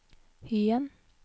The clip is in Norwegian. Hyen